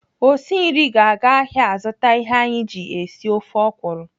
Osi nri ga-aga ahịa azụta ihe anyị ji esi ofe ọkwụrụ.